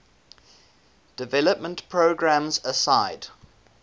development programs aside